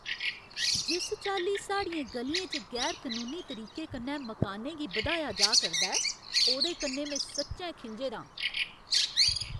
जिस चाल्ली साढ़ियें ग'लियें च गैर कनूनी तरीके कन्नै मकानें गी बधाया जा करदा ऐ, ओह्दे कन्नै में सच्चैं खिंझे दा आं।